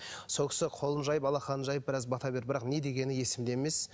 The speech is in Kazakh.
сол кісі қолын жайып алақанын жайып біраз бата берді бірақ не дегені есімде емес